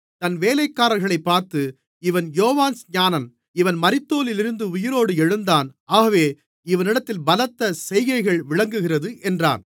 தன் வேலைக்காரர்களைப் பார்த்து இவன் யோவான்ஸ்நானன் இவன் மரித்தோரிலிருந்து உயிரோடு எழுந்தான் ஆகவே இவனிடத்தில் பலத்த செய்கைகள் விளங்குகிறது என்றான்